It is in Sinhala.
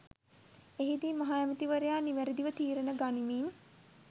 එහිදී මහ ඇමති වරයා නිවැරදිව තීරණ ගනිමින්